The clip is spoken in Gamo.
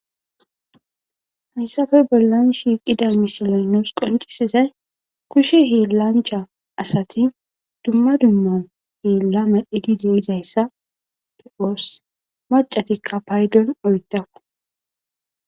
Jassappe bollan diza misiley nuusi qonccisizay kudhe hiillanchcha asati dumma dumma hiilla medhizayssa bessees.